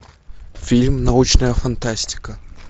фильм научная фантастика